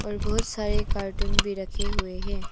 बहुत सारे कार्टून भी रखे हुए हैं।